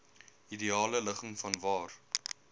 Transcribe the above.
ideale ligging vanwaar